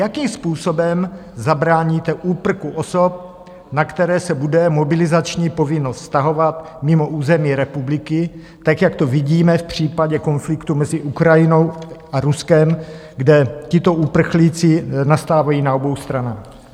Jakým způsobem zabráníte úprku osob, na které se bude mobilizační povinnost vztahovat, mimo území republiky, tak jak to vidíme v případě konfliktu mezi Ukrajinou a Ruskem, kde tito uprchlíci nastávají na obou stranách?